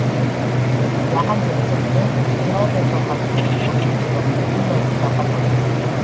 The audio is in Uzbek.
Yaqin kelajakda snayper sohasida O‘zbekiston butunlay mustaqil bo‘ladi.